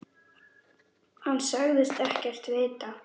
Hann sagðist ekkert vita.